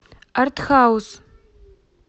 артхаус